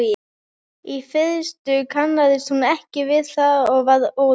Í fyrstu kannaðist hún ekki við það og varð óróleg.